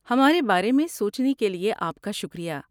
ہمارے بارے میں سوچنے کے لیے آپ کا شکریہ۔